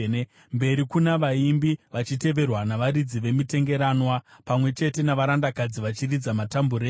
Mberi kuna vaimbi, vachiteverwa navaridzi vemitengeranwa; pamwe chete navarandakadzi vachiridza matambureni.